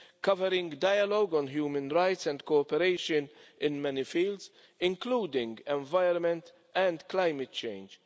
covering dialogue on human rights and cooperation in many fields, including the environment and climate change.